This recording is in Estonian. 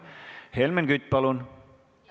Helmen Kütt, palun!